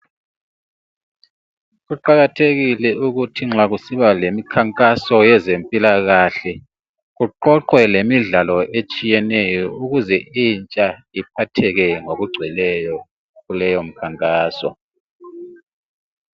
Kuqakathekile ukuthi nxa kusiba lemikhankaso yezempilakahle kuqoqwe lemidlalo etshiyeneyo ukuze intsha iphatheke ngokungcweleyo kuleyo mkhankaso